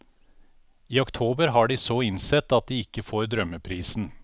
I oktober har de så innsett at de ikke får drømmeprisen.